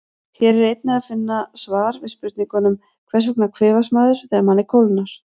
Hér er einnig að finna svar við spurningunum: Hvers vegna kvefast maður þegar manni kólnar?